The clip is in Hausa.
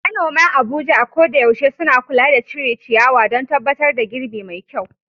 Manoman Abuja a koda yaushe suna kula da cire ciyawa don tabbatar da girbi mai kyau.